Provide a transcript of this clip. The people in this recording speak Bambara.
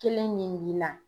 Kelen min b'i la